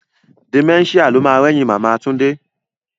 Dementia lo ma rẹ́yìn Màmá Túndé